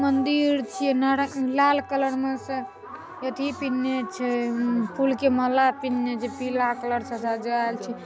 मदिर छै नारा लाल कलर में छै। एथि पिहनने छै फुल के माला पिन्हने छै पीला कलर से सजायल छै--